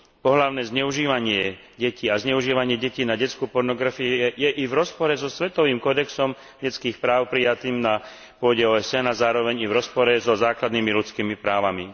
Pohlavné zneužívanie detí a zneužívanie detí na detskú pornografiu je i v rozpore so svetovým kódexom detských práv prijatým na pôde OSN a zároveň i v rozpore so základnými ľudskými právami.